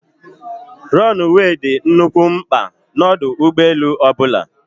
Rọnụwee dị nnukwu mkpa n'ọdụ ụgbọelu ọbụla.